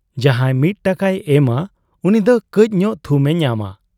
ᱡᱟᱦᱟᱸᱭ ᱢᱤᱫ ᱴᱟᱠᱟᱭ ᱮᱢᱟ ᱩᱱᱤ ᱫᱚ ᱠᱟᱹᱡ ᱧᱚᱜ ᱛᱷᱩᱢ ᱮ ᱧᱟᱢᱟ ᱾